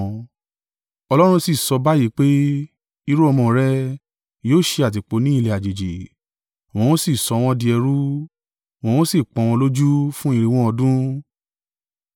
Ọlọ́run sì sọ báyìí pé, ‘Irú-ọmọ rẹ yóò ṣe àtìpó ní ilẹ̀ àjèjì; wọn ó sì sọ wọn di ẹrú, wọn ó sì pọ́n wọn lójú fún irinwó (400) ọdún.